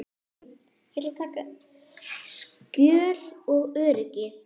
Skjól og öryggi.